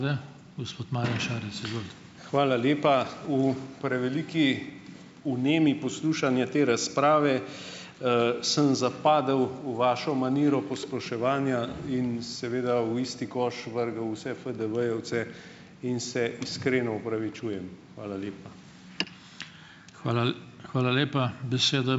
Hvala lepa. V preveliki vnemi poslušanja te razprave, sem zapadel v vašo maniro posploševanja in seveda v isti koš vrgel vse FDV-jevce in se iskreno opravičujem. Hvala lepa.